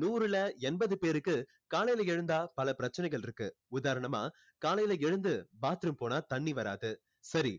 நூறுல எண்பது பேருக்கு காலையில எழுந்தா பல பிரச்சினைகள் இருக்கு உதாரணமா காலையில எழுந்து bathroom போனா தண்ணி வராது சரி